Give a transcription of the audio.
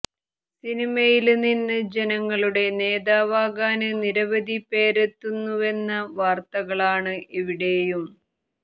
സിനിമയില് നിന്ന് ജനങ്ങളുടെ നേതാവാകാന് നിരവധി പേരെത്തുന്നുവെന്ന വാര്ത്തകളാണ് എവിടെയും